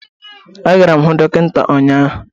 Agara m ịhụ dọkịta ụnyaahụ